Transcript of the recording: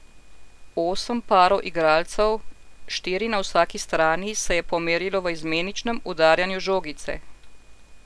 Osem parov igralcev, štiri na vsaki strani, se je pomerilo v izmeničnem udarjanju žogice.